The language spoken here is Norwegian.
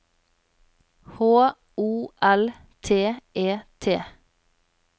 H O L T E T